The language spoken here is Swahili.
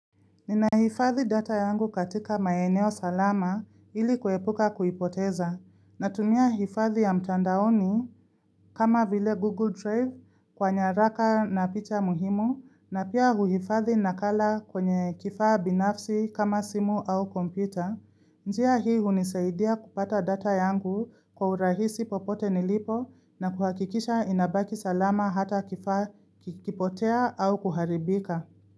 Ninahifadhi data yangu katika maeneo salama, ili kuepuka kuipoteza. Natumiaifadhi ya mtandaoni, kama vile Google Drive kwa nyaraka na picha muhimu, na pia huhifadhi nakala kwenye kifaa binafsi kama simu au kompyuta. Njia hii hunisaidia kupata data yangu kwa urahisi popote nilipo na kuhakikisha inabaki salama hata kifaa kikipotea au kuharibika.